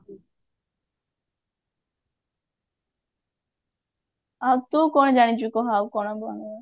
ଆଉ ତୁ କଣ ଜାଣିଛୁ କହ ଆଉ କଣ